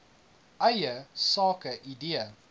eie sake idee